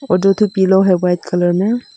और दो ठो पिलो है व्हाइट कलर मे--